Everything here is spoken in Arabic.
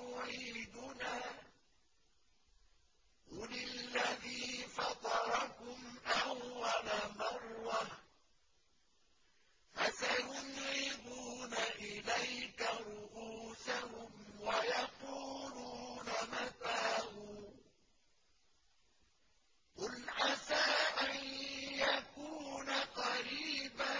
يُعِيدُنَا ۖ قُلِ الَّذِي فَطَرَكُمْ أَوَّلَ مَرَّةٍ ۚ فَسَيُنْغِضُونَ إِلَيْكَ رُءُوسَهُمْ وَيَقُولُونَ مَتَىٰ هُوَ ۖ قُلْ عَسَىٰ أَن يَكُونَ قَرِيبًا